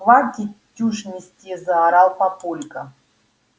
хватит чушь нести заорал папулька